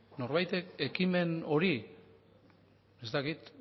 norbaitek ekimen hori ez dakit